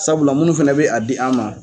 Sabula minnu fana bɛ a di an ma